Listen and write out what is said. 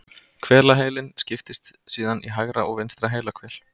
Hvelaheilinn skiptist síðan í hægra og vinstra heilahvel.